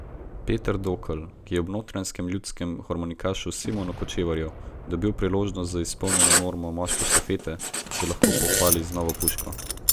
Peter Dokl, ki je ob notranjskem ljudskem harmonikašu Simonu Kočevarju dobil priložnost z izpolnjeno normo moške štafete, se lahko pohvali z novo puško.